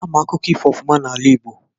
Ama akụkọ ifo ofụma n'ala igbo.